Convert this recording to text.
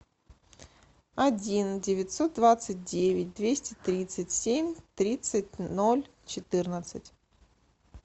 один девятьсот двадцать девять двести тридцать семь тридцать ноль четырнадцать